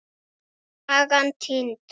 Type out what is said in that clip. Sagan týnd.